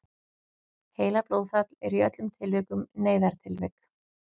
heilablóðfall er í öllum tilvikum neyðartilvik